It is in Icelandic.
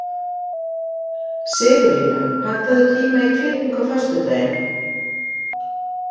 Sigurlína, pantaðu tíma í klippingu á föstudaginn.